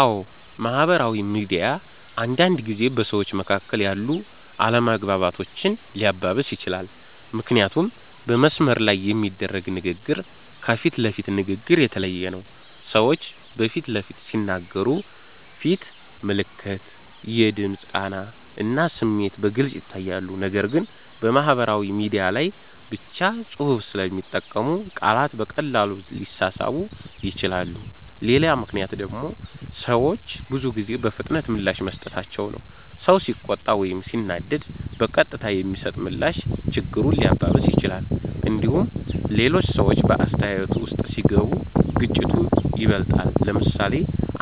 አዎ፣ ማህበራዊ ሚዲያ አንዳንድ ጊዜ በሰዎች መካከል ያሉ አለመግባባቶችን ሊያባብስ ይችላል። ምክንያቱም በመስመር ላይ የሚደረግ ንግግር ከፊት ለፊት ንግግር የተለየ ነው። ሰዎች በፊት ለፊት ሲነጋገሩ ፊት ምልክት፣ የድምፅ ቃና እና ስሜት በግልጽ ይታያሉ። ነገር ግን በማህበራዊ ሚዲያ ላይ ብቻ ጽሁፍ ስለሚጠቀሙ ቃላት በቀላሉ ሊሳሳቡ ይችላሉ። ሌላ ምክንያት ደግሞ ሰዎች ብዙ ጊዜ በፍጥነት ምላሽ መስጠታቸው ነው። ሰው ሲቆጣ ወይም ሲናደድ በቀጥታ የሚሰጥ ምላሽ ችግሩን ሊያባብስ ይችላል። እንዲሁም ሌሎች ሰዎች በአስተያየቱ ውስጥ ሲገቡ ግጭቱ ይበልጣል። ለምሳሌ፣